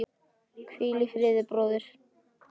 Hvíl í friði, bróðir.